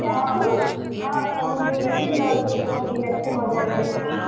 ହଁ, ହଁ, ସମୁଦ୍ର ଯାଇଛି ଲହଡି ପହଡି ଭାଙ୍ଗିକି ଆସିଛି ମଜା କରିକି